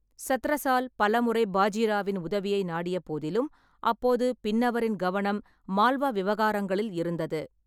சத்ரசால் பலமுறை பாஜி ராவின் உதவியை நாடிய போதிலும், அப்போது பின்னவரின் கவனம் மால்வா விவகாரங்களில் இருந்தது.